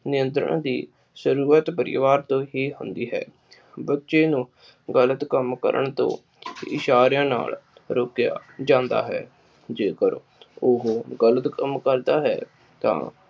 ਨਿਯੰਤਰਣ ਦੀ ਪਰਿਵਾਰ ਨੂੰ ਹੀ ਹੁੰਦੀ ਹੈ। ਬੱਚੇ ਨੂੰ ਗ਼ਲਤ ਕੰਮ ਕਰਨ ਤੋਂ ਇਸ਼ਾਰਿਆਂ ਨਾਲ ਰੋਕਿਆ ਜਾਂਦਾ ਹੈ। ਜੇਕਰ ਉਹ ਗ਼ਲਤ ਕੰਮ ਕਰਦਾ ਹੈ ਤਾ